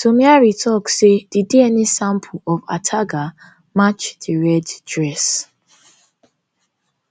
somiari tok say di dna sample of ataga match di red dress